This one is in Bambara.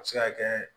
A bɛ se ka kɛ